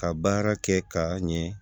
Ka baara kɛ k'a ɲɛ